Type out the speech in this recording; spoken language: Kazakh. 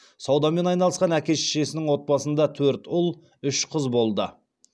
саудамен айналысқан әке шешесінің отбасында төрт ұл үш қызы болды